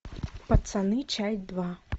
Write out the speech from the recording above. пацаны часть два